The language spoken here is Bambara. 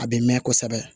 A bɛ mɛn kosɛbɛ